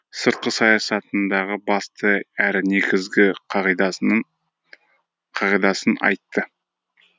сыртқы саясатындағы басты әрі негізгі қағидасын айтты